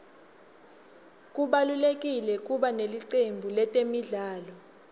kubalulekile kuba nelicembu letemidlalo